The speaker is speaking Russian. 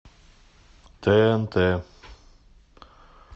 тнт